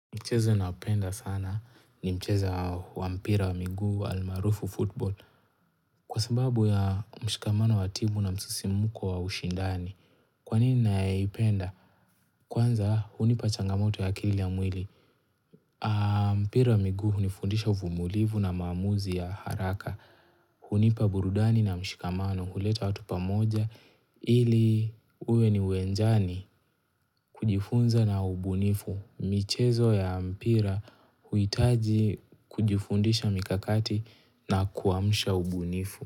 Mchezo ninaoupenda sana ni mchezo wa mpira wa miguu wa almarufu football Kwa sababu ya mshikamano wa timu na msisimko wa ushindani Kwa nini na upenda? Kwanza hunipa changamoto ya akili ya mwili mpira wa miguu hunifundisha uvumilivu na maamuzi ya haraka hunipa burudani na mshikamano huleta watu pamoja ili uwe ni uwenjani kujifunza na ubunifu michezo ya mpira huhitaji kujifundisha mikakati na kuamsha ubunifu.